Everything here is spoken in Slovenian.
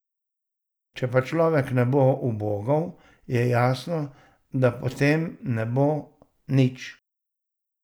Če pa človek ne bo ubogal, je jasno, da potem ne bo nič.